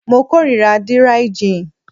Mo kórira díríí jin